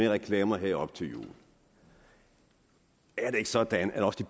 af reklamer her op til jul er det ikke sådan at også